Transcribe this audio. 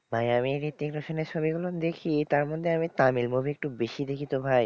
ভাই আমি ঋত্বিক রোশনের ছবিগুলো দেখি, তারমধ্যে আমি তামিল movie একটু বেশি দেখি তো ভাই,